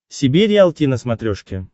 себе риалти на смотрешке